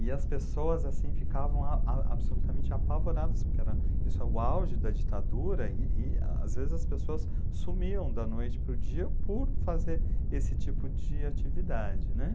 E as pessoas assim ficavam absolutamente apavoradas, porque era o auge da ditadura, e e a às vezes as pessoas sumiam da noite para o dia por fazer esse tipo de atividade.